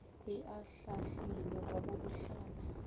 e ahlaahlilwe ga go bohlatse